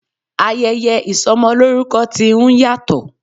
Ayẹyẹ ìsọmọlórúkọ ti ń yàtọ̀.